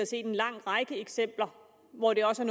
set en lang række eksempler hvor det også